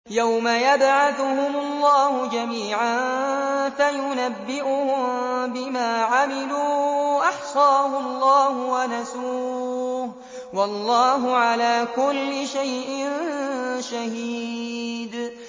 يَوْمَ يَبْعَثُهُمُ اللَّهُ جَمِيعًا فَيُنَبِّئُهُم بِمَا عَمِلُوا ۚ أَحْصَاهُ اللَّهُ وَنَسُوهُ ۚ وَاللَّهُ عَلَىٰ كُلِّ شَيْءٍ شَهِيدٌ